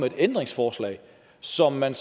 et ændringsforslag som man